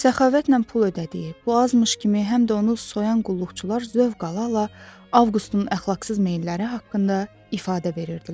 Səxavətlə pul ödədiyi, bu azmış kimi həm də onu soyan qulluqçular zövq ala-ala Avqustun əxlaqsız meylləri haqqında ifadə verirdilər.